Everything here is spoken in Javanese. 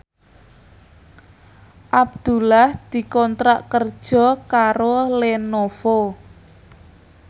Abdullah dikontrak kerja karo Lenovo